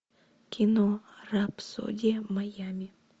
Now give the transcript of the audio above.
кино рапсодия майями